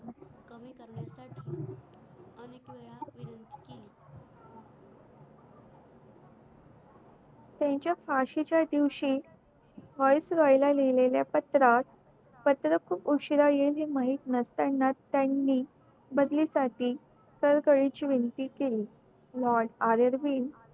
त्याच्या फाशी च्या दिवशी voice roy लिहिलेल्या पात्रात पत्र खूप उशिरा येईल हे माहित नसताना त्यानी बदली साठी कळ कळीची विनंती केली moartrrbn